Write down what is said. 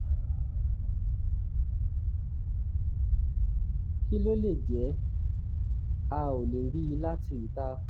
kí ló lè jẹ́? a ò lè rí i láti ìta